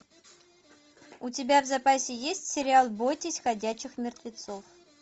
у тебя в запасе есть сериал бойтесь ходячих мертвецов